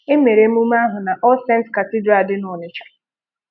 Emere emume ahụ na All Saints Cathedral dị n'Ọnịcha.